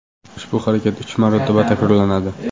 Ushbu harakat uch marotaba takrorlanadi.